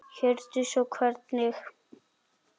Hjördís: Og hvernig gekk?